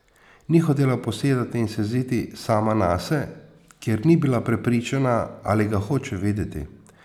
Ni hotela posedati in se jeziti sama nase, ker ni bila prepričana, ali ga hoče videti.